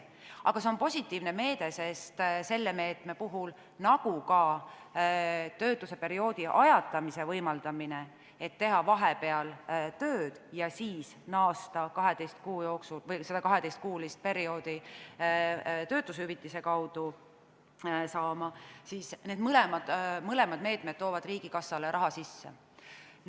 Aga see on positiivne meede, sest selle meetme puhul – nagu ka töötuse perioodi ajatamise võimaldamisel, nii et võib teha vahepeal tööd ja siis naasta 12-kuulise perioodi juurde, saades töötushüvitist – tuleb raha riigikassasse sisse.